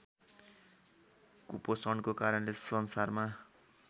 कुपोषणको कारणले संसारमा